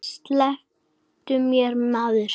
Slepptu mér maður.